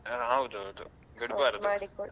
ಹೌದೌದು.